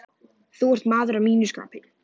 Þú ert maður að mínu skapi.